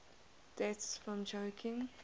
deaths from choking